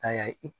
A y'a ye